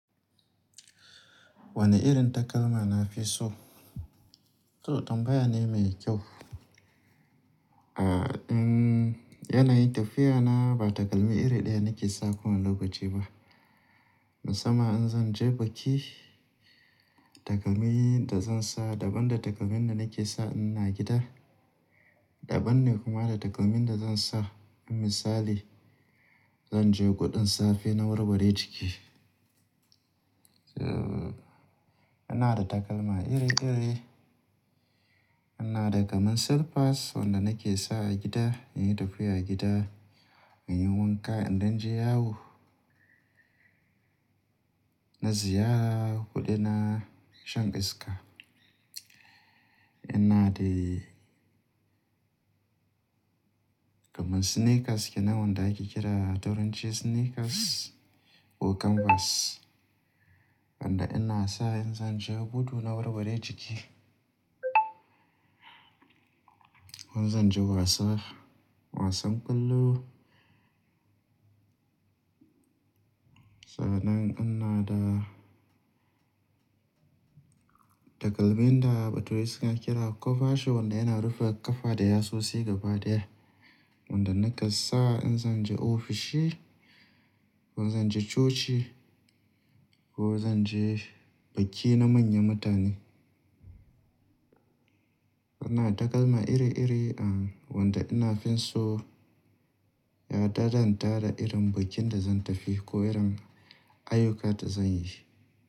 Wane irin takalma nafi so? To tambaya ne mai kyau. A, um, yanayin tafiya na ba takalmi iri ɗaya nake sa kowani lokaci ba. Musamman in zan je biki, takalmi da zan sa daban da takalmin da nake sa in ina gida. Daban ne kuma da takalmin da zan sa in misali, zan je guɗin safe na warware jiki. So, ina da takalma iri iri. Ina da kamar slippers wanda nake sa a gida, yayin tafiya a gida, muyi wanka. In dan je yawo, na ziyara ko dai na shan iska. Ina de kamar sneakers kenan wanda ake kira turanci sneakers ko canvas. Wanda ina sa in zan je gudu na warware jiki ko in zan je wasa, wasan ƙwallo. Sannan ina da takalmin da bature suna kira cover shoe wanda yana rufe ƙafa da yasosi gaba daya. Wanda naka sa in zan je ofishi ko zan je coci ko zan je biki na manyan mutane. Ina da takalma iri iri a wanda ina fin so ya dadanta da irin bikin da zan tafi ko irin ayyuka da zan yi.